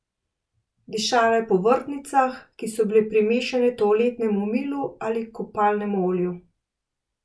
Dišala je po vrtnicah, ki so bile primešane toaletnemu milu ali kopalnemu olju.